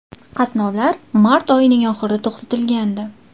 Qatnovlar mart oyining oxirida to‘xtatilgandi.